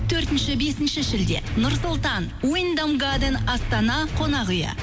төртінші бесінші шілде нұр сұлтан уйндам гаден астана қонақ үйі